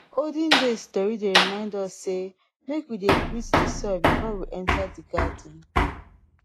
olden days tori dey remind us sey make we dey greet de soil before we enter de garden